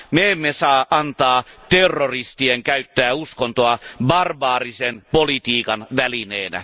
me emme saa antaa terroristien käyttää uskontoa barbaarisen politiikan välineenä.